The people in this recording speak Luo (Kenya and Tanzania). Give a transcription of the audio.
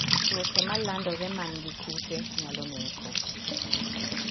Tuoche ma landore mani gi kute nyalo neko .